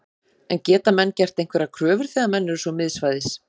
En geta menn gert einhverjar kröfur þegar menn eru svo miðsvæðis?